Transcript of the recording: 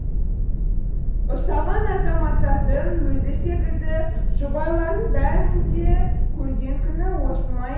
ұсталған азаматтардың өзі секілді жұбайларының бәрінің де көрген күні осы ма